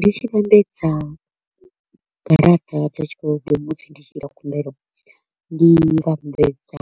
Ndi tshi vhambedza garaṱa dza tshikolodo musi ndi tshi ita khumbelo, ndi vhambedza